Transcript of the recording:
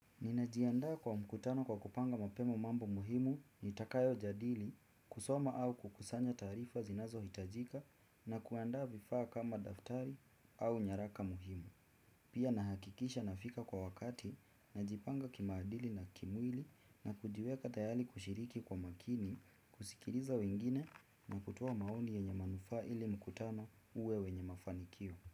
Ninajiandaa kwa mkutano kwa kupanga mapema mambo muhimu, nitakayo jadili, kusoma au kukusanya tarifa zinazo hitajika na kuandaa vifaa kama daftari au nyaraka muhimu. Pia nahakikisha nafika kwa wakati, najipanga kimaadili na kimwili na kujiweka tayali kushiriki kwa makini, kusikiriza wengine na kutowa maoni yenye manufaa ili mkutano uwe wenye mafanikio.